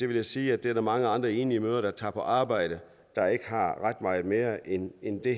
vil jeg sige at der er mange andre enlige mødre der tager på arbejde der ikke har ret meget mere end end det